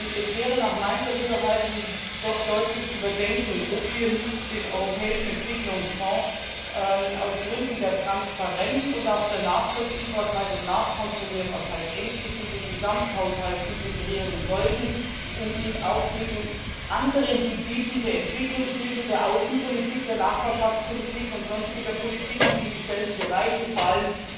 Es wäre nach meinem Dafürhalten doch deutlich zu überdenken, ob wir nicht den Europäischen Entwicklungsfonds aus Gründen der Transparenz und auch der Nachvollziehbarkeit und Nachkontrollierbarkeit endlich in den Gesamthaushalt integrieren sollten, um ihn dann mit den anderen Gebieten der Entwicklungshilfe, der Außenpolitik, der Nachbarschaftspolitik und sonstiger Politiken, die in dieselben Bereiche fallen